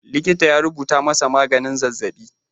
Likita ya rubuta masa maganin zazzaɓi.